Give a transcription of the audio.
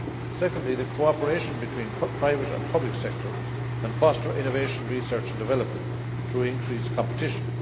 Secondly, that cooperation between the private and public sectors can foster innovation, research and development through increased competition.